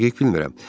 Dəqiq bilmirəm.